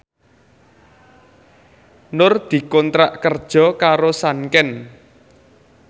Nur dikontrak kerja karo Sanken